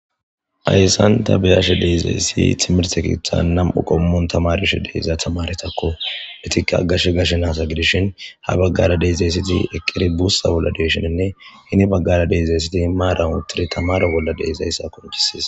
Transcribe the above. ayssan ta biyashe deezeessi timirte kiitha nam7u qommon tamarushe deeiza tamaretakko betika gashe gashe naasa gidishin ha baggara deyzeessiti eqqiri buussa bolla deeshininne hini baggara deezeessiti maaran uttiri tamaro bolla deezayssa kontisis